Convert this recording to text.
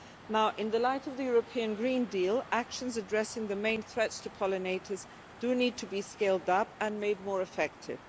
Now, in the light of the European Green Deal, actions addressing the main threats to pollinators do need to be scaled up and made more effective.